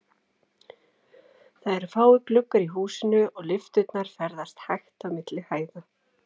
Það eru fáir gluggar í húsinu, og lyfturnar ferðast hægt á milli hæða.